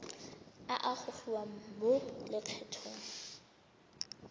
a a gogiwang mo lokgethong